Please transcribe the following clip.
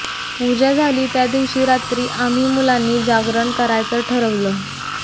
पूजा झाली त्या दिवशी रात्री आम्ही मुलांनी जागरण करायचं ठरवलं